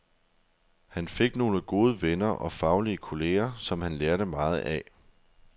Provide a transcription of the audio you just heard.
Han fik nogle gode venner og faglige kolleger, som han lærte meget af.